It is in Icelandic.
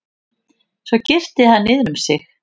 Svo girti hann niður um mig.